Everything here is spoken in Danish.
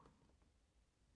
DR K